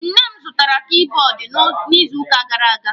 Nne m zụtaara kibọọdụ n'izuuka gara aga.